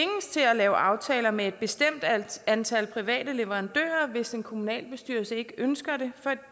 at lave aftaler med et bestemt antal private leverandører hvis en kommunalbestyrelse ikke ønsker det